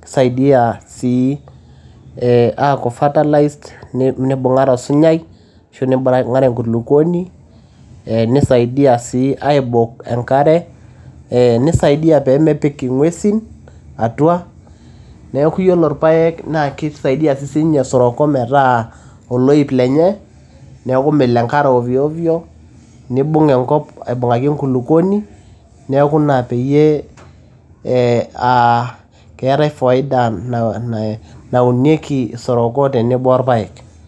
keisaidia sii eeh aaku fertilized neibung`are osunyai ashu nibung`are enkulukuoni nisaidia sii aibok enkare, neisaidia pee mepik ing`uesin atua. Niaku yiolo irpaek naa keisaidia sii ninye isoroko metaa oloip lenye. Niaku melo enkare ovyo ovyo nibung enkop aibung`aki enkulukuoni. Niaku ina peyie aa keetae faida naunieki soroko tenebo o irpaek.